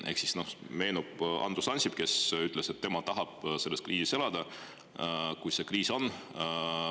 Ehk meenub Andrus Ansip, kes ütles, et tema tahab selles kriisis elada, kui see kriis on.